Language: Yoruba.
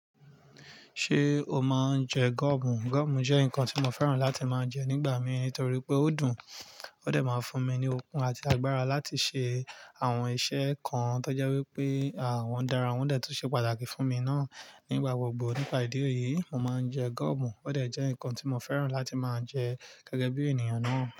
Ṣé o máa ń jẹ gọ́ọ̀mù? Gọ́ọ̀mù jẹ́ nǹkan tí mo fẹ́ràn láti máa ń jẹ nígbà mi nítorí pé ó dùn, ó dẹ̀ máa ń fún mi ní okun àti agbára láti ṣe àwọn iṣẹ́ kan tó jẹ́ wípé à won dára. Wọ́n dẹ̀ tún ṣe pàtàkì fún mi ná. Nígbà gbogbo nípa ìdí èyí, mo máa ń jẹ gọ́ọ̀mù. Ó dẹ̀ jẹ́ nǹkan tí mo fẹ́ràn láti máa jẹ gẹ́gẹ́ bí ènìyàn ná.